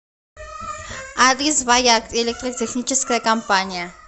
адрес ваяк электротехническая компания